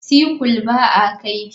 Sickle ba a kaifi.